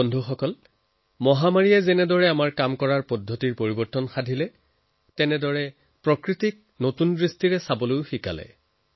বন্ধুসকল মহামাৰীয়ে যিসময়ত এফালে আমাৰ কামকাজৰ পদ্ধতি সলনি কৰিছে আনফালে প্ৰকৃতিক নতুনকৈ উপলব্ধি কৰাৰ সুযোগ প্ৰদান কৰিছে